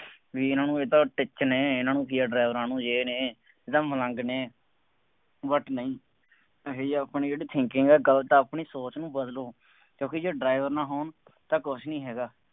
ਬਈ ਇਨ੍ਹਾ ਨੂੰ ਇਹ ਤਾਂ ਟਿੱਚ ਨੇ, ਇਹਨਾ ਨੂੰ ਕੀ ਹੈ ਡਰਾਈਵਰਾਂ ਨੂੰ, ਯੇਹ ਨੇ, ਇਹ ਤਾਂ ਮਲੰਗ ਨੇ, but ਨਹੀਂ ਇਹੋ ਜਿਹੀ ਆਪਣੀ ਜਿਹੜੀ thinking ਹੈ ਗਲਤ ਆ ਆਪਣੀ, ਸੋਚ ਨੂੰ ਬਦਲੋ, ਕਿਉਂਕਿ ਜੇ driver ਨਾ ਹੋਣ ਤਾਂ ਕੁੱਛ ਨਹੀਂ ਹੈਗਾ।